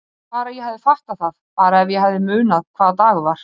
Bara ég hefði fattað það, bara ef ég hefði munað hvaða dagur var.